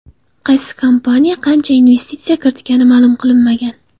Qaysi kompaniya qancha investitsiya kiritgani ma’lum qilinmagan.